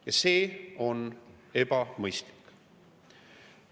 Ja see on ebamõistlik.